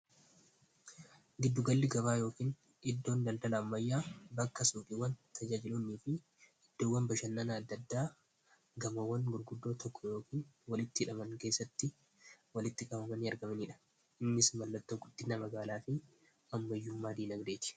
giddugalli gabaa yookiin iddoon daldala ammayyaa bakka suqiiwwan tajaajilunii fi iddoowwan bashannanaaddaddaa gamawwan gurguddoo tokko yookiin walitti idhaman keessatti walitti qabamani argamaniidha innis mallattoo guddina magaalaa fi ammayyummaa diinagdeeti